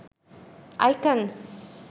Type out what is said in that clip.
icons